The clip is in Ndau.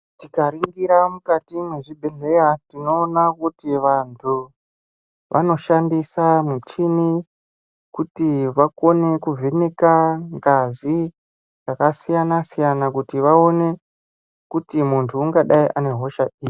Tikaningira mukati mwezvibhedhlera tinoona kuti vantu vanoshandisa muchini kuti vakone kuvheneka ngazi dzakasiyana siyana kuti vaone kuti muntu ungadi ane hosha iri.